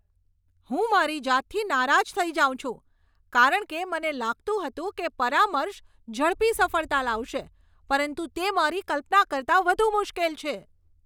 હું મારી જાતથી નારાજ થઈ જાઉં છું કારણ કે મને લાગતું હતું કે પરામર્શ ઝડપી સફળતા લાવશે, પરંતુ તે મારી કલ્પના કરતાં વધુ મુશ્કેલ છે.